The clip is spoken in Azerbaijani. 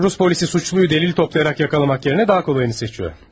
Rus polisi suçluyu dəlil toplayaraq yaxalamaq yerinə daha kolayını seçiyor.